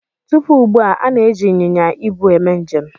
Tupu ugbu a, a na-eji ịnyịnya ibu eme njem.